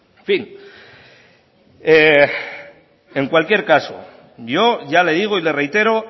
en fin en cualquier caso yo ya le digo y le reitero